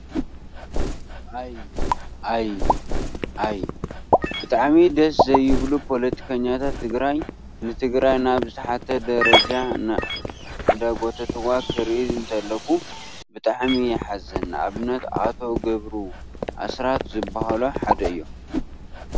ኣይ! ኣይ! ኣይ! ብጣዕሚ ደስ ዘይብሉ ፖለትከኛታት ትግራይ ንትግራይ ናብ ዝተሓተ ደረጃ እንዳጎተትዋ ክሪኢ እንተለኩ ብጣዕሚ የሓዝን ንኣብነት ኣቶ ገብሩ ኣስራት ዝበሃሉ ሓደ እዮም።